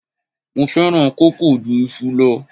Mo fẹ́ràn kókò ju iṣu lọ.